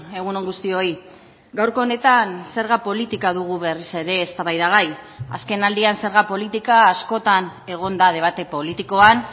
egun on guztioi gaurko honetan zerga politika dugu berriz ere eztabaidagai azkenaldian zerga politika askotan egon da debate politikoan